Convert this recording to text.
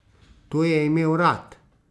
To je imel rad!